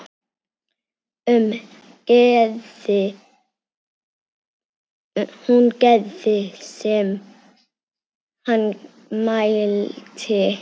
Hún gerði sem hann mælti.